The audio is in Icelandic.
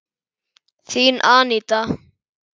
Þín, Aníta.